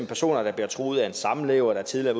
personer der bliver truet af en samlever der tidligere